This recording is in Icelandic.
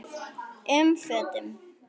um fötum.